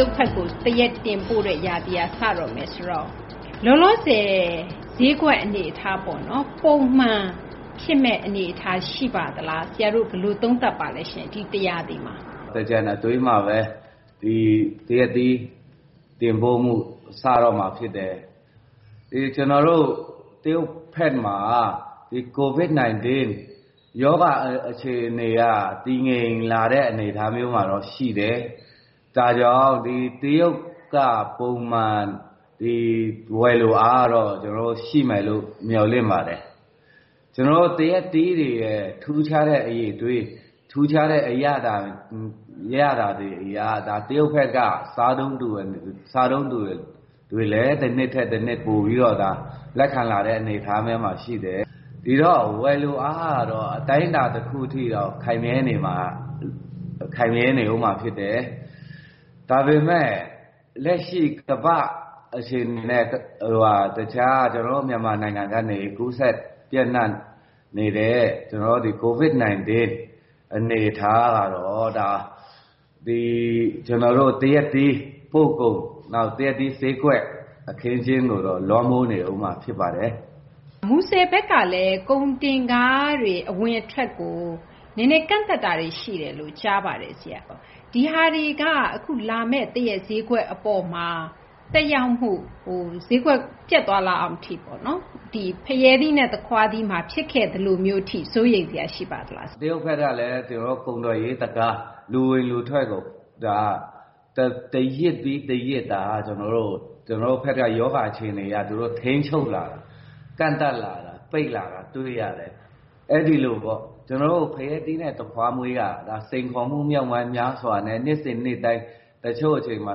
ရုတ်ဘက်ကို သရက် တင်ပို့တဲ့ ရာသီက စတော့မယ် ဆိုတော့ လောလောဆယ် ဈေးကွက် အနေအထားပေါ့နော် ပုံမှန် ဖြစ်မယ့် အနေအထား ရှိပါသလား။ ဆရာတို့ ဘယ်လို သုံးသပ်ပါလဲရှင့်။ ဒီ တရာသီမှာ။ စိုင်းခင်မောင် ။ ။ သင်္ကြန်အတွင်းမှာဘဲ သရက်သီး တင်ပို့မှု စတော့မှာ ဖြစ်တယ်။ တရုတ်ဘက်မှာ COVID 19 ရောဂါ အခြေအနေက တည်ငြိမ်လာတဲ့ အနေအထားမျိုးမှာတော့ ရှိတယ်။ ဒါကြောင့် ဒီ တရုတ်က ပုံမှန် ဝယ်လိုအားကတော့ ရှိမယ်လို့ မျှော်လင့်ပါတယ်။ ကျနော်တို့ သရက်သီးတွေရဲ့ ထူးခြားတဲ့ အရည်အသွေး အရသာတွေ အရ တရုတ်ဘက်က စားသုံးသူတွေလည်း တနှစ်ထက် တနှစ် ပိုပြီးတော့ လက်ခံလာတဲ့ အနေအထားမျိုးမှာ ရှိတယ်။ ဒီတော့ ဝယ်လိုအားကတော့ အတိုင်းအတာ တခု အထိ ခိုင်မြဲနေဦးမှာ ဖြစ်တယ်။ ဒါပေမယ့် လက်ရှိ ကမ္ဘာ့အခြေအနေနဲ့ တခြား ကျနော်တို့ မြန်မာနိုင်ငံ ကနေ ကူးစက် ပျံ့နှံ့နေတဲ့ COVID 19 အနေအထား ကတော့ သရက်သီး ပို့ကုန် သရက်သီး ဈေးကွက် အခင်းအကျင်းကိုတော့ လွှမ်းမိုးနေဦးမှာ ဖြစ်ပါတယ်။ သိင်္ဂ ီထိုက် ။ ။ မူဆယ်ဘက်ကလည်း ကုန်တင်ကားတွေ အဝင်အထွက်ကို နည်းနည်း ကန့်သတ်တာတွေ ရှိတယ်လို့ ကြားပါတယ်။ ဒီဟာတွေက အခုလာမယ့် သရက် ဈေးကွက် အပေါ်မှာ သက်ရောက်မှု ဈေးကွက် ပျက်သွားလောက်အောင်ထိ ဖရဲသီးနဲ့ သခွားသီးမှာ ဖြစ်ခဲ့သလိုမျိုးထိ စိုးရိမ်စရာ ရှိပါသလား။ စိုင်းခင်မောင် ။ ။ တရုတ်ဘက်ကလည်း ကျနော်တို့ ကုန်သွယ်ရေး တံခါး လူဝင်လူထွက်ကို တရစ်ပြီး တရစ် ကျနော်တို့ဘက်က ရောဂါ အခြေအနေ အရ သူတို့ ထိန်းချုပ်လာတာ ၊ ကန့်သတ်လာတာ၊ ပိတ်လာတာ တွေ့ရတယ်။ အဲသည်လိုပေါ့ ကျနော်တို့ ဖရဲသီးနဲ့ သခွားမွှေးက စိန်ခေါ်မှု မြောက်များစွာနဲ့ နှစ်စဉ် နှစ်တိုင်း တချို့ အချိန်မှာ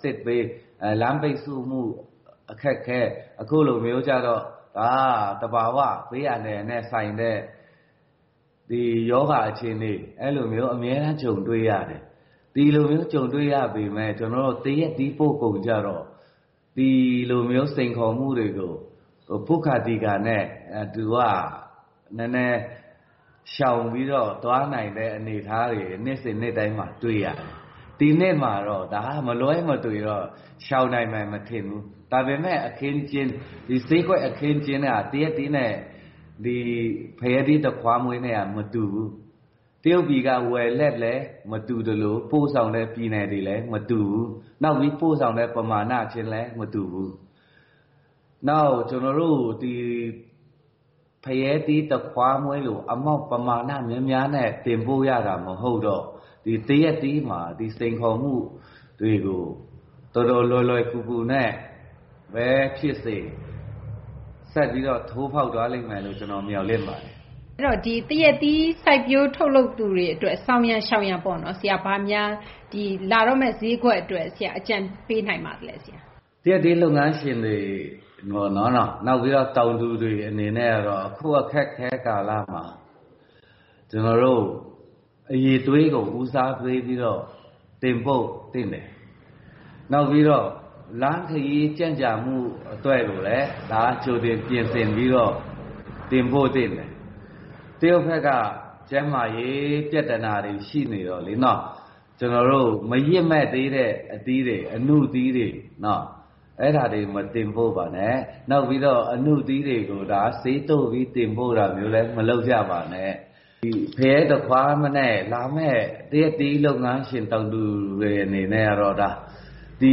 စစ်ဘေး၊ လမ်းပိတ်ဆို့မှု အခက်အခဲ ၊ အခုလိုမျိုးကျတော့ ဒါက သဘာ၀ ဘေးအန္တရာယ်နဲ့ ဆိုင်တဲ့ ဒီ ရောဂါ အခြေအနေ အဲလိုမျိုး အမြဲတမ်း ကြုံတွေ့ရတယ်။ ဒီလိုမျိုး ကြုံတွေ့ရပေမယ့် ကျနော်တို့ သရက်သီး ပို့ကုန်ကျတော့ ဒီလိုမျိုးစိန်ခေါ်မှုတွေကို ပွတ်ခါ သီခါ နဲ့ သူက နည်းနည်း ရှောင်ပြီးတော့ သွားနိုင်တဲ့ အနေအထားတွေ နှစ်စဉ် နှစ်တိုင်းမှာ တွေ့ရတယ်။ ဒီနှစ်မှာတော့ မလွဲမသွေ ရှောင်နိုင်မယ် မထင်ဘူး။ ဒါပေမယ့် ဈေးကွက် အခင်းအကျင်းက သရက်သီးနဲ ဖရဲသီး၊ သခွားမွှေးနဲ့က မတူဘူး။ တရုတ်ပြည်က ဝယ်လက်လည်း မတူ သလို ပို့ဆောင်တဲ့ ပြည်နယ်တွေလည်း မတူဘူး။ နောက်ပြီး ပို့ဆောင်တဲ့ ပမာဏခြင်းလည်း မတူဘူး။ နောက် ဖရဲသီး၊ သခွားမွှေးလို ပမာဏ များများနဲ့ တင်ပို့ရတာ မဟုတ်တော့ သရက်သီးမှာ ဒီစိန်ခေါ်မှုတွေကို တော်တော် လွယ်လွယ်ကူကူနဲ့ ဘဲ ဖြစ်စေ ဆက်ပြီးတော့ ထိုးဖောက်သွားမယ်လို့ မျှော်လင့်ပါတယ်။ သိင်္ဂ ီထိုက် ။ ။ အဲဒီတော့ သရက်သီး စိုက်ပျိုး ထုတ်လုပ်သူတွေ အတွက် ဆောင်ရန် ရှောင်ရန်ပေါ့ လာတော့မယ့် ဈေးကွက် အတွက် အကြံပေးနိုင်ပါသလဲ။ စိုင်းခင်မောင် ။ ။ သရက်သီး လုပ်ငန်းရှင်တွေ တောင်သူတွေ အနေနဲ့တော့ အခု အခက်အခဲ ကာလမှာ ကျနော်တို့ အရည်အသွေးကို ဦးစားပေးပြီးတော့ တင်ပို့သင့်တယ်။ နောက်ပြီးတော့ လမ်းခရီး ကြန့်ကြာမှု အတွက်ကိုလည်း ကြိုတင် ပြင်ဆင်ပြီးတော့ တင်ပို့သင့်တယ်။ တရုတ်ဘက်က ကျန်းမာရေး ပြသနာတွေ ရှိနေတော့လေ။ ကျနော်တို့ မရင့်မှည့်သေးတဲ့ အသီးတွေ ၊ အနုသီးတွေ နော် အဲဒါတွေ မတင်ပို့ပါနဲ့။ နောက်ပြီးတော့ အနုသီးတွေကို ဆေးသုတ်ပြီး တင်ပို့တာမျိုးတွေလည်း မလုပ်ကြပါနဲ့။ ဖရဲ သခွားနဲ့ လာမယ့် သရက်သီး လုပ်ငန်းရှင် တောင်သူတွေ အနေနဲ့ ဒီ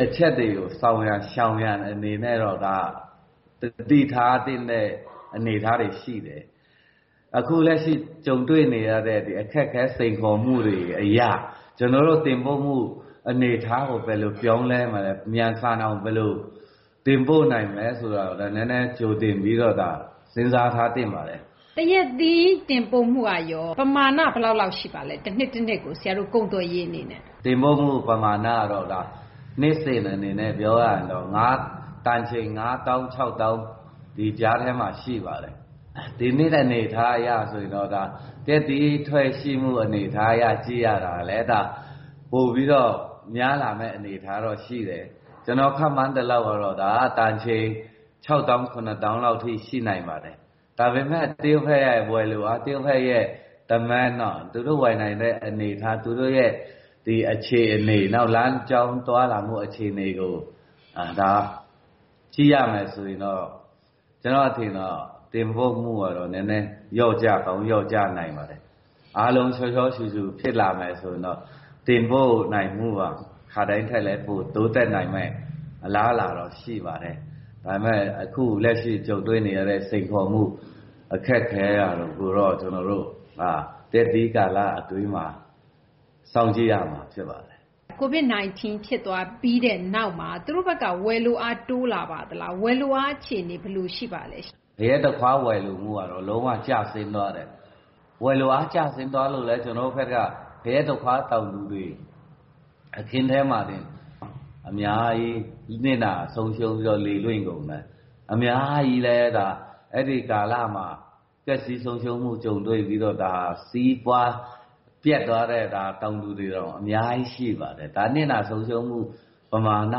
အချက်တွေကို ဆောင်ရန် ရှောင်ရန် အနေနဲ့တော့ ဒါ သတိထားသင့်တဲ့ အနေအထားတွေ ရှိတယ်။ အခုလက်ရှိ တွေ့နေရတဲ့ အခက်အခဲ စိန်ခေါ်မှုတွေ အရ ကျနော်တို့ တင်ပို့မှု အနေအထားကို ဘယ်လို ပြောင်းလဲ မြန်ဆန်အောင် တင်ပို့နိုင်မလဲ ဆိုတာကိုလည်း နည်းနည်း ကြိုတင်ပြီးတော့ စဉ်းစား ထားသင့်ပါတယ်။ သိင်္ဂ ီထိုက် ။ ။ သရက်သီး တင်ပို့မှုကရော ပမာဏ ဘယ်လောက် ရှိပါလဲ။ တနှစ်ကို ဆရာတို့ ကုန်သွယ်ရေး အနေနဲ့။ စိုင်းခင်မောင် ။ ။ တင်ပို့မှု ပမာဏကတော့ နှစ်စဉ် အနေနဲ့ ပြောရရင်တော့ တန်ချိန် ၅၀,၀၀၀ - ၆၀,၀၀၀ ဒီကြားထဲမှာ ရှိပါတယ်။ ဒီနှစ် အနေအထား အရတော့ သရက်သီး ထွက်ရှိမှု အနေအထား ကြည့်ရတာကတော့ ပိုပြီး များလာမယ့် အနေအထားတော့ ရှိတယ်။ ကျနော် ခန့်မှန်းသလောက်တော့ တန်ချိန် ၆၀,၀၀၀ - ၇၀,၀၀၀ လောက်ထိ ရှိနိုင်ပါတယ်။ ဒါပေမယ့် တရုတ်ဘက်က ဝယ်လိုအား သူတို့ရဲ့ အခြေအနေ နောက် လမ်းကြောင်း သွားလာမှု အခြေအနေကို ကြည့်ရမယ်ဆိုရင်တော့ ကျနော့် အထင်တော့ တင်ပို့မှုကတော့ နည်းနည်း လျော့ကျကောင်း လျော့ကျနိုင်ပါတယ်။ အားလုံး ရှောရှောရှုရှု ဖြစ်လာမယ် ဆိုရင်တော့ တင်ပို့နိုင်မှုက ခါတိုင်းထက်လည်း တိုးတက်နိုင်မယ့် အလားအလာတော့ ရှိပါတယ်။ ဒါပေမယ့် အခုလက်ရှိ ကြုံတွေ့နေရတဲ့ စိန်ခေါ်မှု အခက်အခဲက သရက်သီး ကာလ အတွင်းမှာ စောင့်ကြည့်ရမှာ ဖြစ်ပါတယ်။ သိင်္ဂ ီထိုက် ။ ။ COVID 19 ဖြစ်သွားပြီးတဲ့ နောက်မှာ တရုတ်ဘက်က ဝယ်လိုအား တိုးလာပါသလား။ ဝယ်လိုအား အခြေအနေ ဘယ်လို ရှိပါလဲရှင့်။ စိုင်းခင်မောင် ။ ။ ဖရဲ သခွား ဝယ်လိုမှုကတော့ လုံး၀ ကျဆင်းသွားတယ်။ ဝယ်လိုအား ကျသွားလို့လည်း ကျနော်တို့ဘက်က ဖရဲ သခွား တောင်သူတွေ အခင်းထဲမှာတင် အများကြီး နစ်နာ ဆုံးရှုံး လေလွင့်ကုန်တယ်။ အဲဒီကာလမှာ ပျက်စီး ဆုံးရှုံးမှု ကြုံတွေ့ပြီးတော့ စီးပွား ပျက်သွားတဲ့ တောင်သူတွေ အများကြီး ရှိပါတယ်။ နစ်နာ ဆုံးရှုံးမှု ပမာဏ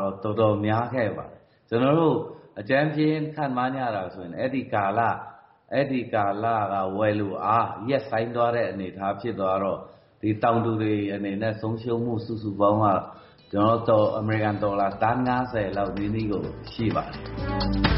တော့ တော်တော် များခဲ့ပါတယ်။ ကျနော်တို့ အကြမ်းဖျဉ်း ခန့်မှန်းရတာ ဆိုရင် အဲဒီ ကာလ ဝယ်လိုအား ရပ်ဆိုင်းသွားတဲ့ အနေအထား ဖြစ်သွားတော့ ဒီ တောင်သူတွေ အနေနဲ့ ဆုံးရှုံးမှု စုစုပေါင်း အမေရိကန် ဒေါ်လာ သန်း ၅၀ လောက် ထိကိုရှိပါတယ်